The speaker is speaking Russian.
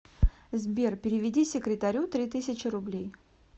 сбер переведи секретарю три тысячи рублей